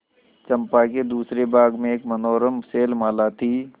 चंपा के दूसरे भाग में एक मनोरम शैलमाला थी